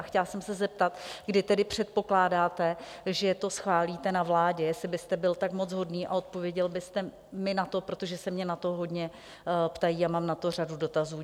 A chtěla jsem se zeptat, kdy tedy předpokládáte, že to schválíte na vládě, jestli byste byl tak moc hodný a odpověděl byste mi na to, protože se mě na to hodně ptají a mám na to řadu dotazů.